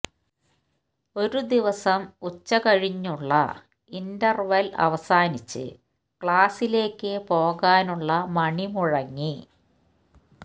ഒരു ദിവസം ഉച്ച കഴിഞ്ഞുള്ള ഇന്റെർവൽ അവസാനിച്ച് ക്ലാസ്സിലേക്ക് പോകാനുള്ള മണി മുഴങ്ങി